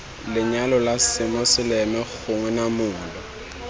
lenyalo la semoseleme gongwe namolo